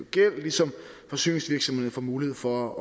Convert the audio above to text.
gæld ligesom forsyningsvirksomhederne får mulighed for at